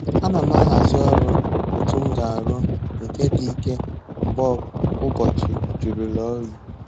Ana m ahazi ọrụ otu m ga-arụ nke dị ike mgbe ụbọchị jụrụla oyi